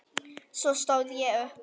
Svo stóð ég upp.